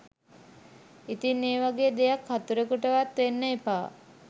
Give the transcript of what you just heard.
ඉතින් ඒ වගේ දෙයක් හතුරෙකුටවත් වෙන්න එපා